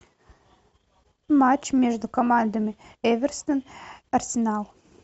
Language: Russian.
матч между командами эвертон арсенал